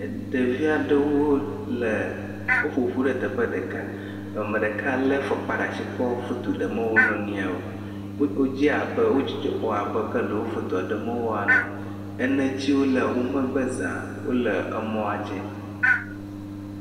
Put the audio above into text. Ɖevi aɖewo le woƒo ƒu ɖe teƒe ɖeka, ame ɖeka lé afɔkpa ɖe asi kɔ foto ɖem wo nɔ nɔeawo, wodze abe, wo dzidzɔ kpɔm abe ke ɖe wo foto ɖem woe ne.